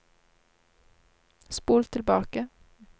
spol tilbake